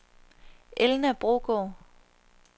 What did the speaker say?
Elna Brogaard